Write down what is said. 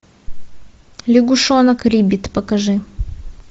лягушонок риббит покажи